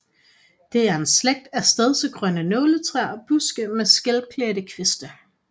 Det er en slægt af stedsegrønne nåletræer og buske med skælklædte kviste